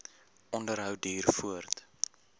onderhou duur voort